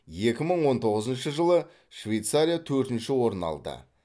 екі мың он тоғызыншы жылы швейцария төртінші орын алды